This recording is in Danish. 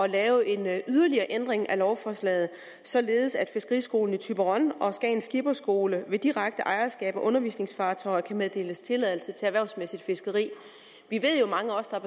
laves en yderligere ændring af lovforslaget således at fiskeriskolen i thyborøn og skagen skipperskole ved direkte ejerskab af undervisningsfartøjer kan meddeles tilladelse til erhvervsmæssigt fiskeri mange af os der